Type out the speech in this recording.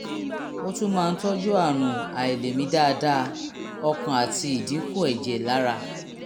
ó tún máa ń tọ́jú àrùn àìlèmí dáadáa ọkàn àti ìdínkù ẹ̀jẹ̀ lára